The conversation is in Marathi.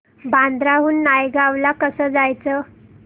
बांद्रा हून नायगाव ला कसं जायचं